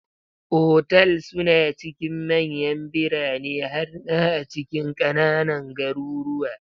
Otal suna cikin manyan birane har ma a cikin ƙananan garuruwa.